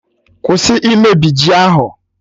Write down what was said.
Kwụsị imebi ji ahụ!